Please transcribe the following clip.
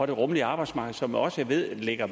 det rummelige arbejdsmarked som jeg også ved ligger